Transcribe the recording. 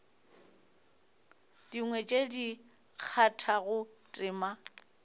dingwe tše di kgathago tema